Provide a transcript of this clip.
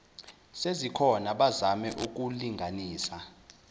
sezikhona bazame ukulinganisa